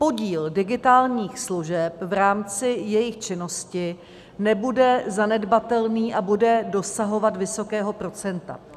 Podíl digitálních služeb v rámci jejich činnosti nebude zanedbatelný a bude dosahovat vysokého procenta.